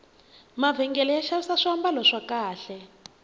mavhengele ya xavisa swambalo swa kahle